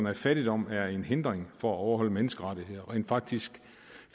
at fattigdom er en hindring for at overholde menneskerettighederne rent faktisk